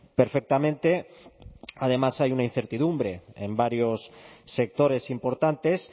perfectamente además hay una incertidumbre en varios sectores importantes